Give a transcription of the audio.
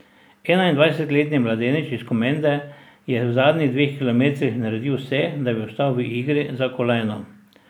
Enaindvajsetletni mladenič iz Komende je v zadnjih dveh kilometrih naredil vse, da bi ostal v igri za kolajno.